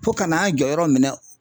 Fo ka n'an jɔ yɔrɔ minɛ.